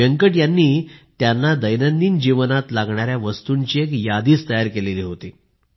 व्यंकट यांनी त्यांना दैनंदिन जीवनात लागणाऱ्या वस्तूंची एक यादी तयार केली होती